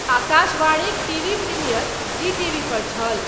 आकाशवाणीक TV premiere, Zee टीवीपर छल।